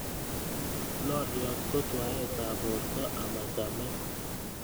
Loliot ko twaetab borto amachamet